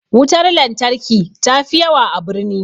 Wutar lantarki ta fi yawa a birni